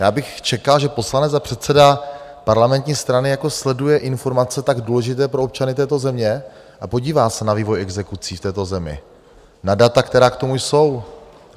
Já bych čekal, že poslanec a předseda parlamentní strany jako sleduje informace tak důležité pro občany této země a podívá se na vývoj exekucí v této zemi, na data, která k tomu jsou.